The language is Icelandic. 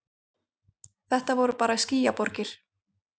Þetta voru bara skýjaborgir.